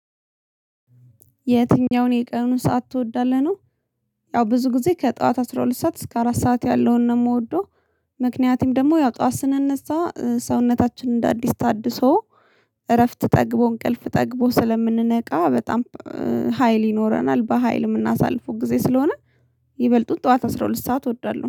የትኛውን የቀኑ ሰዓት ትወዳለህ? ነው ያው ብዙ ጊዜ ከጠዋት አስራ ሁለት ሰዓት እስከ አራት ሰዓት ያለውን ነው የምወደው። ምክንያቱም ደግሞ ያው ጠዋት ስነነሳ ሰውነታችን እንደ አዲስ ታድሶ እረፍት ጠግቦ እንቅልፍ ጠግቦ ስለምንነቃ በጣም ሀይል ይኖረናል በሃይል የምናሳልፈው ጊዜ ስለሆነ። ይበልጡን ጠዋት አስራ ሁለት ሰዓት እወዳለሁ